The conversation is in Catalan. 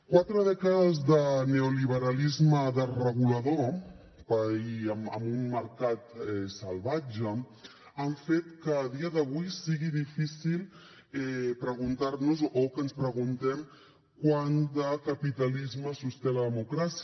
quatre dècades de neoliberalisme desregulador i amb un mercat salvatge han fet que a dia d’avui sigui difícil preguntar nos o que ens preguntem quant de capitalisme sosté la democràcia